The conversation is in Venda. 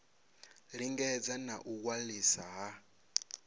lingedza na u waliswa ha